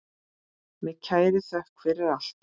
Með kærri þökk fyrir allt.